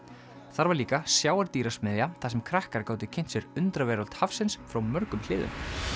þar var líka þar sem krakkar gátu kynnt sér undraveröld hafsins frá mörgum hliðum